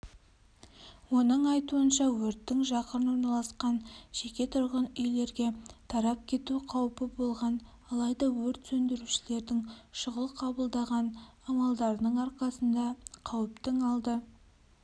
оның айтуынша өрттің жақын орналасқан жеке тұрғын үйлерге тарап кету қаупі болған алайда өрт сөндірушілердің шұғыл қабылдаған амалдарының арқасында қауіптің алды